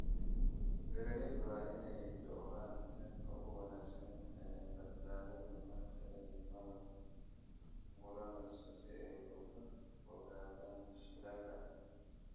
Beeralayda waa inay dhawraan heerka ugu wanaagsan ee badbaadada marka ay malab guranayaan si ay uga fogaadaan shilalka.